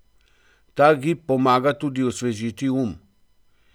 Ta gib pomaga tudi osvežiti um.